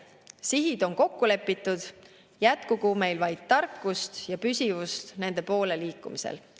Sihid on kokku lepitud, jätkugu meil vaid tarkust ja püsivust nende poole liikumisel.